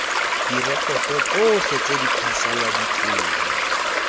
direkoto tsotlhe tse di phasaladitsweng